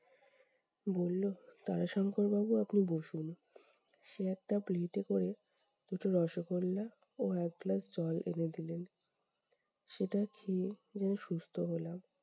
বললো- তারাশঙ্কর বাবু আপনি বসুন, সে একটা পিলিতে করে দুটো রসোগোল্লা ও একগ্লাস জল এনে দিলেন। সেটা খেয়ে প্রায় সুস্থ হলাম।